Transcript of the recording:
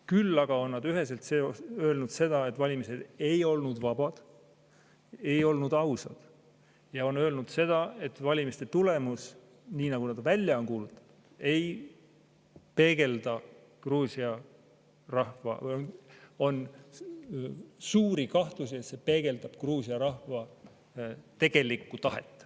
Küll on nad üheselt öelnud seda, et valimised ei olnud vabad, ei olnud ausad, ja on öelnud seda, et valimiste tulemus, nii nagu nad välja on kuulutanud, ei peegelda Gruusia rahva või õigemini on suuri kahtlusi, et see peegeldab Gruusia rahva tegelikku tahet.